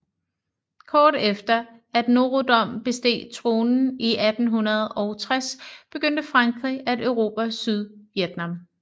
Kort efter at Norodom besteg tronen i 1860 begyndte Frankrig at erobre Sydvietnam